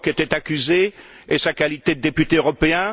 Brok était accusé et sa qualité de député européen?